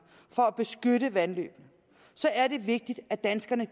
for at beskytte vandløbene er det vigtigt at danskerne